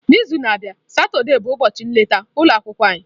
N'izu na-abịa Satọde bụ ụbọchị nleta ụlọ akwụkwọ anyị.